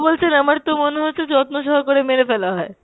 বলছেন আমার তো মনে হচ্ছে যত্ন সহকারে মেরে ফেলা হয়।